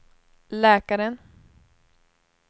läkaren